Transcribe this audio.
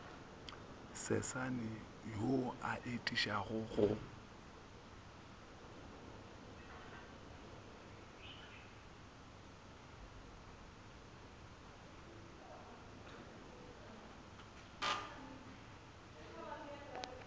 sesane wo o atišago go